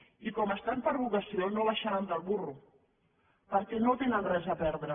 i com hi estan per vocació no baixaran del burro perquè no hi tenen res a perdre